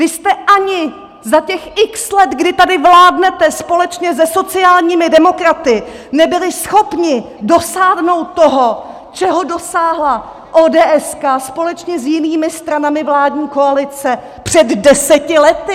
Vy jste ani za těch x let, kdy tady vládnete společně se sociálními demokraty, nebyli schopni dosáhnout toho, čeho dosáhla ODS společně s jinými stranami vládní koalice před deseti lety!